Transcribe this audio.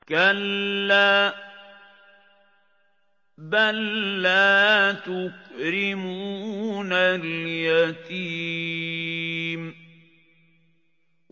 كَلَّا ۖ بَل لَّا تُكْرِمُونَ الْيَتِيمَ